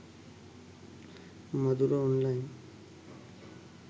madura online